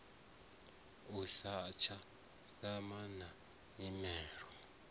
i satsha anana na nyimele